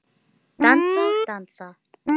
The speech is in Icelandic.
Dansa og dansa.